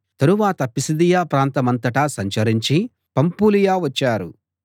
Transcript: తరువాత పిసిదియ ప్రాంతమంతటా సంచరించి పంఫూలియ వచ్చారు